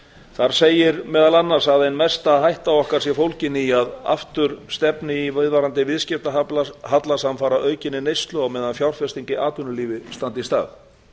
þar segir meðal annars að ein mesta hætta okkar sé fólgin í að aftur stefni í viðvarandi viðskiptahalla samfara aukinni neyslu á meðan fjárfesting í atvinnulífi standi í stað